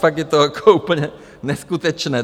Fakt je to jako úplně neskutečné.